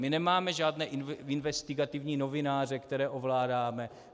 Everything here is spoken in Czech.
My nemáme žádné investigativní novináře, které ovládáme.